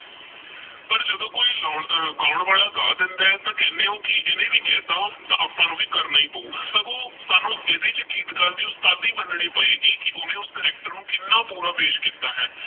ਗਾਉਣ ਵਾਲਾ ਗਾ ਦੇਂਦਾ ਆਹ ਤੇਹ ਕਹੰਦੇ ਓਹ ਕੀ ਏਹਨੇ ਵੀ ਕੇਹ੍ਨਤਾ ਤੇਹ ਅਪ੍ਪਾ ਨੂ ਕਰਨਾ ਹੀ ਪਉ ਸਗੋਂ ਸਾਨੂ ਇਹਦੇ ਚ ਗੀਤਕਰ ਦੀ ਉਸ੍ਤਾਦੀ ਮਨਣੀ ਪਏ ਗੀ ਕੀ ਓਹਨੇ ਉਸ CHARACTER ਨੂ ਕੀਨਾ ਬੁਰਾ ਪੇਸ਼ ਕੀਤਾ ਹੈ